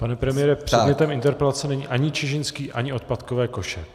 Pane premiére, předmětem interpelace není ani Čižinský, ani odpadkové koše.